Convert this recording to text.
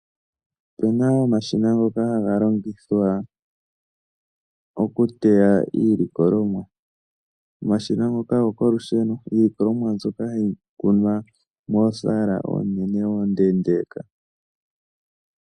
Opu na omashina ngoka haga longithwa okuteya iilikolomwa, omashina ngoka ogo kolusheno, iilikolomwa mbyoka hayi kunwa moosaala oonene oondeendeeka.